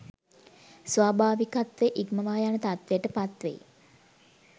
ස්වාභාවිකත්වය ඉක්මවා යන තත්ත්වයට පත්වෙයි